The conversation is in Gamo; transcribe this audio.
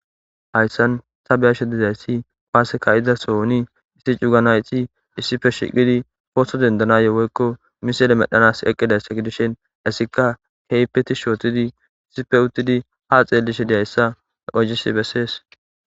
Hayssan sabeyashe dizayssi paaseka izasohoni issi cuganayti issife shiqidi foso dendanayeweykko misele medhanas eqqidayssa gidishen issika heypeti shootidi issife uttidi ha xeelishe diayssa qohis bessees.